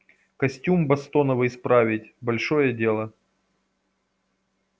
костюм бостоновый справить большое дело